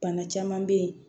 Bana caman bɛ yen